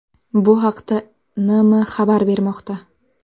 Bu haqda NM xabar bermoqda .